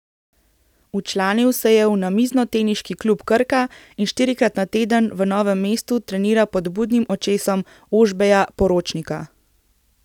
Včlanil se je v Namiznoteniški klub Krka in štirikrat na teden v Novem mestu trenira pod budnim očesom Ožbeja Poročnika.